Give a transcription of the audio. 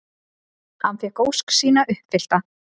Hann fékk ósk sína uppfyllta.